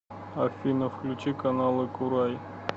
афина включи каналы курай